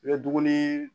I bɛ dumuni